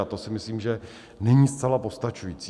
A to si myslím, že není zcela postačující.